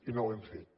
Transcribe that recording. i no ho hem fet